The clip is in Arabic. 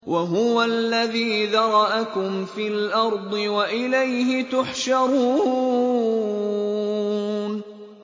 وَهُوَ الَّذِي ذَرَأَكُمْ فِي الْأَرْضِ وَإِلَيْهِ تُحْشَرُونَ